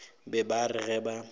be ba re ge ba